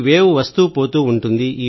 wave వస్తూపోతూ ఉంటుంది